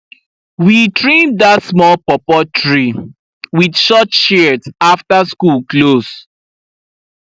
we trim that small pawpaw tree with short shears after school close